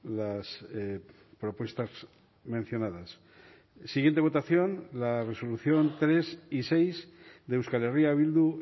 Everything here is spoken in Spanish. las propuestas mencionadas siguiente votación la resolución tres y seis de euskal herria bildu